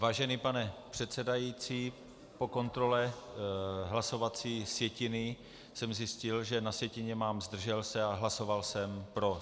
Vážený pane předsedající, po kontrole hlasovací sjetiny jsem zjistil, že na sjetině mám zdržel se a hlasoval jsem pro.